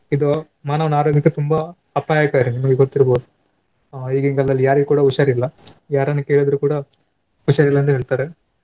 ಇದು ಮಾನವನ ಆರೋಗ್ಯಕ್ಕೆ ತುಂಬಾ ಅಪಾಯಕಾರಿ ನಿಮ್ಗೂ ಗೊತ್ತಿರ್ಬೋದು. ಆ ಈಗಿನ ಕಾಲದಲ್ಲಿ ಯಾರಿಗೂ ಕೂಡ ಹುಷಾರಿಲ್ಲ ಯಾರನ್ನು ಕೇಳಿದ್ರೆ ಕೂಡ ಹುಷಾರಿಲ್ಲ ಅಂತ ಹೇಳ್ತಾರೆ.